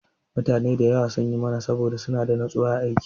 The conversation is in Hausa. Mutane da yawa sun yi mara saboda suna da natsuwa a aiki.